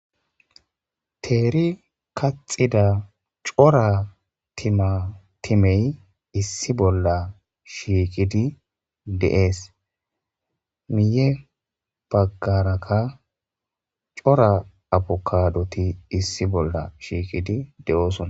teeri kaxida cora tmatimey issi bolla shiikidi deees miye baggaraka cora abukadoti issi bolla shiikidi de7oosona